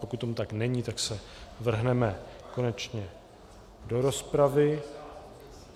Pokud tomu tak není, tak se vrhneme konečně do rozpravy.